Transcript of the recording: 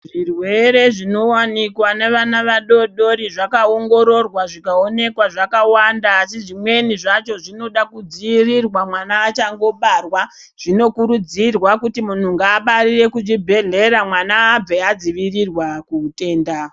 Zvirwere zvinowanikwa nevana vadoodori zvakaongororwa zvikaonekwa zvakawanda, asi zvimweni zvacho zvinoda kudziirirwa mwana achangobarwa. Zvinokurudzirwa kuti muntu ngaabarire kuchibhedhlera, mwana abve adzivirirwa kuutenda.